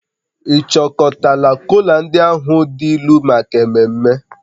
Ị chịkọtala kola ndị ahụ dị ilu maka ememme?